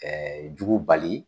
jugu bali